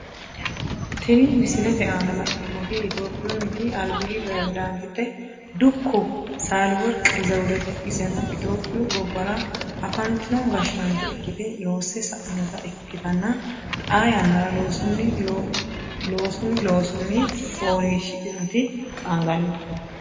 Tinni misilete aanna la'neemoti itophiyunniti albi perezidaantite dukko saalaworqi zewudete iseno itophiyu gobbara afantino gashaancho ikite loose sainota ikitanna xaa yannara loosunni loosunni foolishidhinoti qaangannite